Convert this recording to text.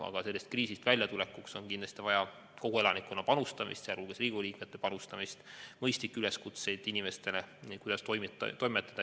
Aga sellest kriisist väljatulekuks on kindlasti vaja kogu elanikkonna panustamist, sealhulgas Riigikogu liikmete panustamist, mõistlikke üleskutseid inimestele, kuidas selles olukorras toimida.